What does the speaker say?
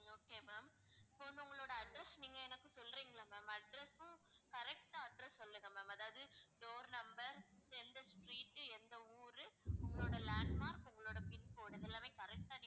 okay ma'am இப்ப வந்து உங்களோட address நீங்க எனக்கு சொல்றீங்களா ma'am address உம் correct ஆ address சொல்லுங்க ma'am அதாவது door number எந்த street எந்த ஊரு உங்களோட landmark உங்களோட pincode இது எல்லாமே correct ஆ